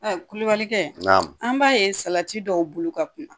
kulubalikɛ naam, an b'a ye salati dɔw bulu ka kunna.